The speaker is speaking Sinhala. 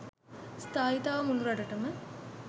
ස්ථායීතාව මුළු රටටම